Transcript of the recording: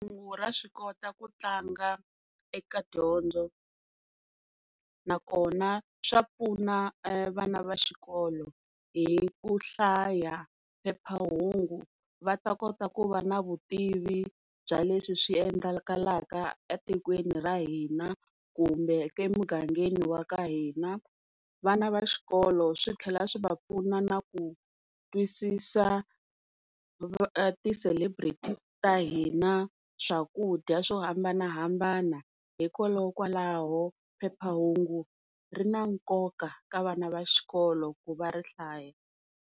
Phephahungu ra swi kota ku tlanga eka dyondzo, nakona swa pfuna vana va xikolo hi ku hlaya phephahungu va ta kota ku va na vutivi bya leswi swi endlekaka etikweni ra hina kumbe emugangeni wa ka hina. Vana va xikolo swi tlhela swi va pfuna na ku twisisa ti celebrity ta hina, swakudya swo hambanahambana hikokwalaho phephahungu ri na nkoka ka vana va xikolo ku va ri hlaya.